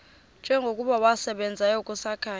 njengokuba wasebenzayo kusakhanya